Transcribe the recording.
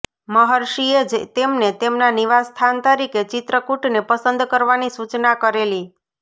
મહર્ષિએ જ તેમને તેમના નિવાસ્થાન તરીકે ચિત્રકૂટને પસંદ કરવાની સૂચના કરેલી